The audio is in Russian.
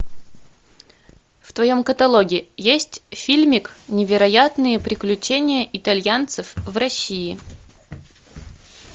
в твоем каталоге есть фильмик невероятные приключения итальянцев в россии